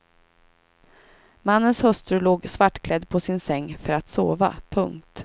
Mannens hustru låg svartklädd på sin säng för att sova. punkt